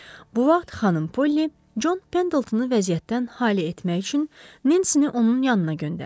Bu vaxt xanım Polli Con Pendeltonu vəziyyətdən xali etmək üçün Nensini onun yanına göndərdi.